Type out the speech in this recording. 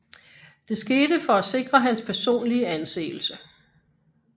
Det skete for at sikre hans personlige anseelse